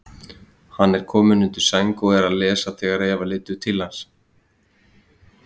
Hann er kominn undir sæng og er að lesa þegar Eva lítur inn til hans.